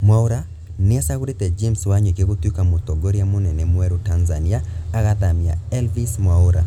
Mwaura nĩacagũrĩte James Wanyoike gũtũĩka mũtongoria mũnene mwerũ Tanzania, agathamia Elvis Mwaura